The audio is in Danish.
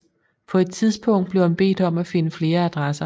På et tidspunkt blev han bedt om at finde flere adresser